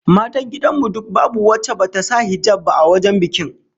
Matan gidan mu duk babu wacce bata sa hijab ba a wajen bikin